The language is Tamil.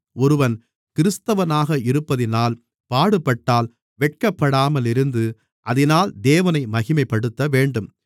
ஒருவன் கிறிஸ்தவனாக இருப்பதினால் பாடுபட்டால் வெட்கப்படாமல் இருந்து அதினால் தேவனை மகிமைப்படுத்தவேண்டும்